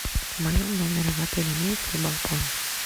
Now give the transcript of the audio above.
в моем номере в отеле имеется ли балкон